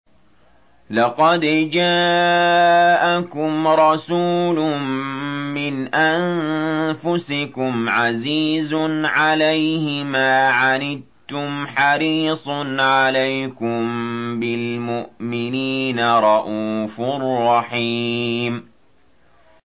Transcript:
لَقَدْ جَاءَكُمْ رَسُولٌ مِّنْ أَنفُسِكُمْ عَزِيزٌ عَلَيْهِ مَا عَنِتُّمْ حَرِيصٌ عَلَيْكُم بِالْمُؤْمِنِينَ رَءُوفٌ رَّحِيمٌ